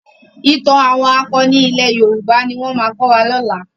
Ìtàn àwọn akọni ilẹ̀ Yorùbá ni wọ́n máa kọ́ wa lọ́la.